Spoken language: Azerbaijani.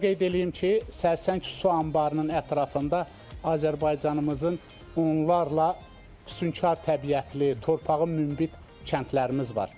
Onu da qeyd eləyim ki, Sərsəng su anbarının ətrafında Azərbaycanımızın onlarca fövqəladə təbiətli, torpağın münbit kəndlərimiz var.